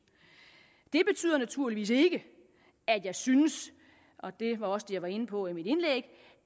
det betyder naturligvis ikke at jeg synes og det var også det jeg var inde på i mit indlæg